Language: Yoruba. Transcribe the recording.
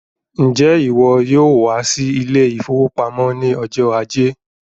Njẹ iwọ yóò wá sí ile-ìfowópamó ní ọjọ ajé?